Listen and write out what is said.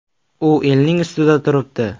U elning ustida turibdi.